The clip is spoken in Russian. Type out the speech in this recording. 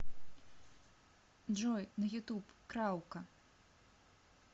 джой на ютуб краука